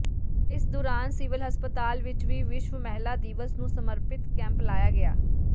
ਇਸ ਦੌਰਾਨ ਸਿਵਲ ਹਸਪਤਾਲ ਵਿੱਚ ਵੀ ਵਿਸ਼ਵ ਮਹਿਲਾ ਦਿਵਸ ਨੂੰ ਸਮਰਪਿਤ ਕੈਂਪ ਲਾਇਆ ਗਿਆ